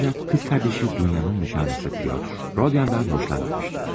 Lakin bacısı Dunyanın nişanlısı Pyotr, Rodiondan xoşlanmamışdır.